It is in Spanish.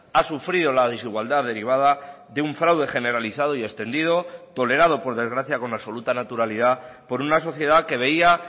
ha sufrido la desigualdad derivada de un fraude generalizado y extendido tolerado por desgracia con absoluta naturalidad por una sociedad que veía